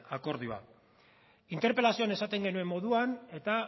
akordio hau interpelazioan esaten genuen moduan eta